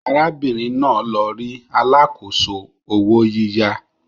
Arábìnrin náà lọ rí alákòóso owó yíyá